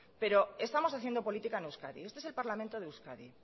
pero estamos haciendo política en euskadi este es el parlamento de euskadi